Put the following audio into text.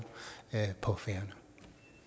på færøerne